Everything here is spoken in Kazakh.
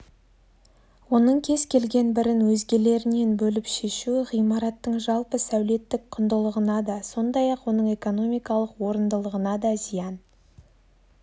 оның кез келген бірін өзгелерінен бөліп шешу ғимараттың жалпы сәулеттік құндылығына да сондай-ақ оның экономикалық орындылығына да зиян